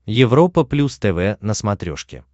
европа плюс тв на смотрешке